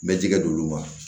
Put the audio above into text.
Bɛ jɛgɛ d'olu ma